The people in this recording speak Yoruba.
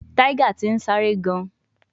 Tiger ti n sare gan